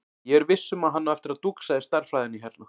Ég er viss um að hann á eftir að dúxa í stærðfræðinni hérna.